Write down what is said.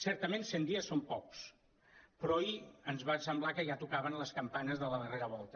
certament cent dies són pocs però ahir ens va semblar que ja tocaven les campanes de la darrera volta